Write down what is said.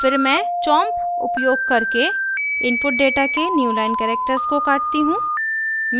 फिर मैं chomp उपयोग करके इनपुट डेटा के new line characters को काटती हूँ